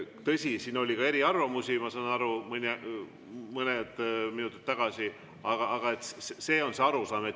Tõsi, siin oli ka eriarvamusi, ma saan aru, mõned minutid tagasi, aga see on see arusaam.